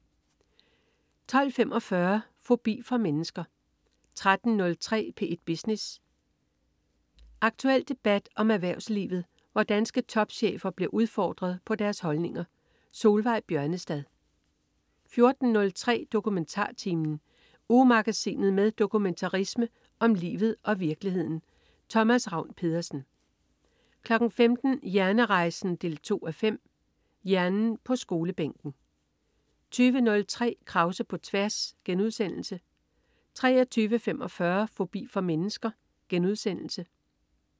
12.45 Fobi for mennesker 13.03 P1 Business. Aktuel debat om erhvervslivet, hvor danske topchefer bliver udfordret på deres holdninger. Solveig Bjørnestad 14.03 DokumentarTimen. Ugemagasinet med dokumentarisme om livet og virkeligheden. Thomas Ravn-Pedersen 15.00 Hjernerejsen 2:5. Hjernen på skolebænken 20.03 Krause på tværs* 23.45 Fobi for mennesker*